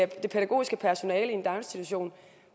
det pædagogiske personale i en daginstitution